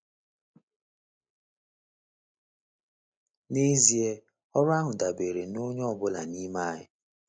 N’ezie, ọrụ ahụ dabere na onye ọ bụla n’ime anyị.